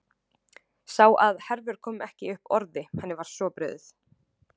Sá að Hervör kom ekki upp orði, henni var svo brugðið.